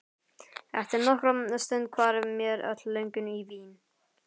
Eftir nokkra stund hvarf mér öll löngun í vín.